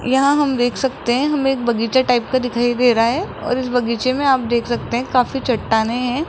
यहां हम देख सकते हैं हमें एक बगीचा टाइप का दिखाई दे रहा है और इस बगीचे में आप देख सकते हैं काफी चट्टानें हैं।